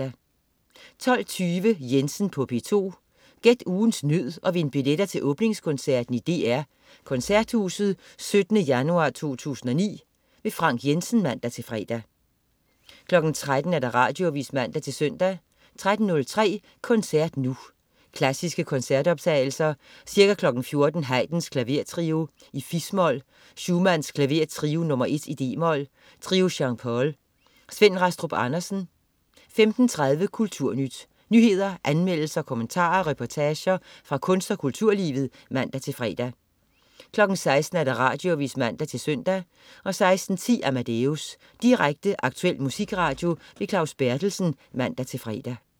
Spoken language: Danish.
12.20 Jensen på P2. Gæt ugens nød og vind billetter til åbningskoncerten i DR Koncerthuset 17. januar 2009. Frank Jensen (man-fre) 13.00 Radioavis (man-søn) 13.03 Koncert Nu. Klassiske koncertoptagelser. Ca. 14.00 Haydn: Klavertrio, fis-mol. Schumann: Klavertrio nr. 1, d-mol. Trio Jean Paul. Svend Rastrup Andersen 15.30 Kulturnyt. Nyheder, anmeldelser, kommentarer og reportager fra kunst- og kulturlivet (man-fre) 16.00 Radioavis (man-søn) 16.10 Amadeus. Direkte, aktuel musikradio. Claus Berthelsen (man-fre)